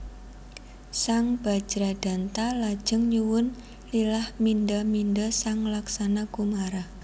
Sang Bajradanta lajeng nyuwun lilah mindha mindha sang Laksana Kumara